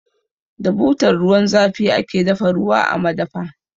Da butar ruwan zafi ake dafa ruwa a madafa.